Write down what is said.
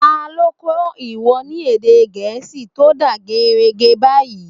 Ta lo kó̩ ìwọ ni èdè gẹẹsi to da geerege bayi?